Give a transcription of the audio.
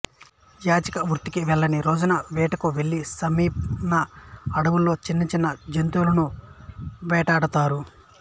యాచక వృత్తికి వెళ్లని రోజున వేటకు వెళ్లి సమీన అడవులలో చిన్న చిన్న జంతువులను వేటాడతారు